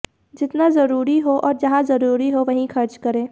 जितना जरूरी हो और जहां जरूरी हो वहीं खर्च करें